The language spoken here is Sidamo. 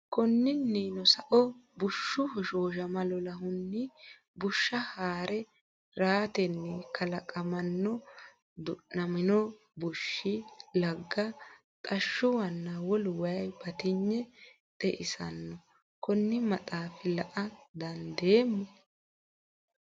Konninnino sao, bushshu hoshooshama lolahunni bushsha haa’re ratenni kalaqamanno duunamino bushshinni lagga, xashshuwanna wolu wayi batinye xeisanno, konne maxaafa la”a dandeemmo?